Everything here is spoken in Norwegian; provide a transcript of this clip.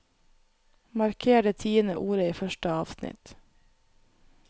Marker det tiende ordet i første avsnitt